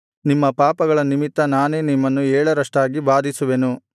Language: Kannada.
ನಿಮ್ಮ ಪಾಪಗಳ ನಿಮಿತ್ತ ನಾನೇ ನಿಮ್ಮನ್ನು ಏಳರಷ್ಟಾಗಿ ಬಾಧಿಸುವೆನು